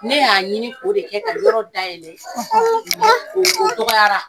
Ne y'a ɲini k'o de kɛ ka yɔrɔ dayɛlɛ ko